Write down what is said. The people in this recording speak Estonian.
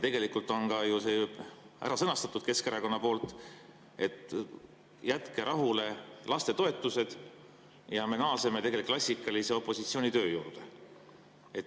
Tegelikult on see ju ka ära sõnastatud Keskerakonna poolt, et jätke rahule lastetoetused ja me naaseme klassikalise opositsioonitöö juurde.